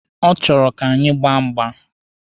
Ọ chọrọ ka anyị gbaa mgba.